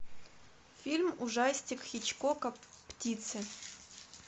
фильм ужастик хичкока птицы